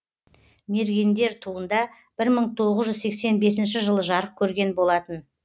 мергендер туында бір мың тоғыз жүз сексен бесінші жылы жарық көрген болатын